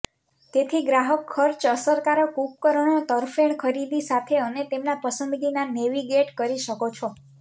તેથી ગ્રાહક ખર્ચ અસરકારક ઉપકરણો તરફેણ ખરીદી સાથે અને તેમના પસંદગીના નેવિગેટ કરી શકો છો